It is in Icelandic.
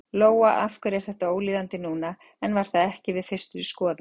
Lóa: Af hverju er þetta ólíðandi núna en var það ekki við fyrstu skoðun?